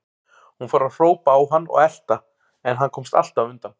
Hún fór að hrópa á hann og elta, en hann komst alltaf undan.